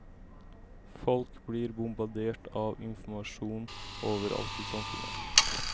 Folk blir bombardert av informasjon overalt i samfunnet.